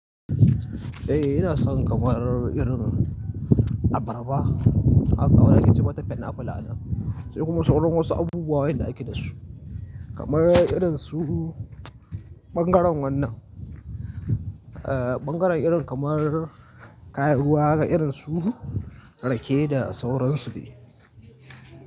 Eh ina son kamar irin abarba, haka a wanda ake ce mata pineapple anan. Sai kuma sauran wasu abubuwayen da ake dasu kamar irin su ɓangaren wannan, eh ɓangaren irin kamar kayan ruwa haka irin su rake da sauransu dai.